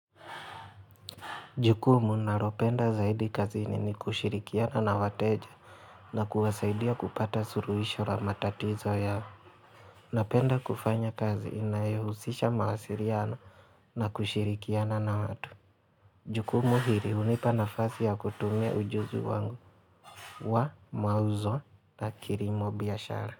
Jukumu naropenda zaidi kazi nini kushirikiana na wateja na kuwasaidia kupata suruhisho la matatizo yao. Napenda kufanya kazi inayohusisha mawasiriana na kushirikiana na watu. Jukumu hiri hunipa nafasi ya kutumia ujuzi wangu wa mauzo na kirimo biashara.